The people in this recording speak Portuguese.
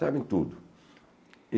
Sabem tudo.